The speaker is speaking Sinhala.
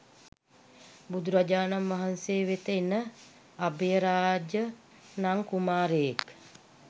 බුදුරජාණන් වහන්සේ වෙත එන අභයරාජ නම් කුමාරයෙක්